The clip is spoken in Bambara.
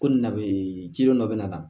Ko na bɛ jidɔn dɔ bɛ na